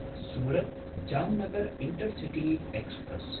Surat Jamnagar intercity express